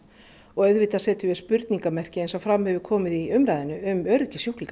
auðvitað setjum við spurningarmerki eins og fram hefur komið í umræðunni um öryggi sjúklinga